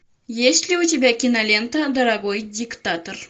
есть ли у тебя кинолента дорогой диктатор